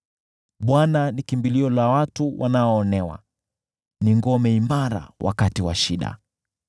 Bwana ni kimbilio la watu wanaoonewa, ni ngome imara wakati wa shida.